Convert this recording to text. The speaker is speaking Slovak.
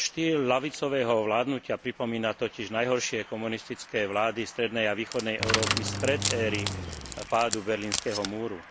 Jeho štýl ľavicového vládnutia pripomína totiž najhoršie komunistické vlády strednej a východnej Európy spred éry pádu berlínskeho múru.